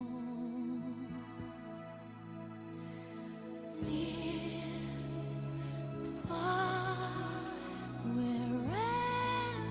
ঘণ্টার পর ঘন্টা কাজ করার পরে বাল্বের ফিলামেন্টটি অবশেষে ক্ষয় হয়ে যায় এবং লাইট বাল্বটি আর কাজ করে না